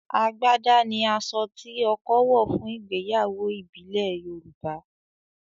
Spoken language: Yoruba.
àgbàdá ni aṣọ tí ọkọ wọ̀ fún ìgbéyàwó ìbílẹ̀ Yorùbá